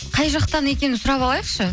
қай жақтан екенін сұрап алайықшы